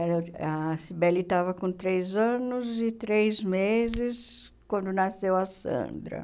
Ela a Cybele estava com três anos e três meses quando nasceu a Sandra.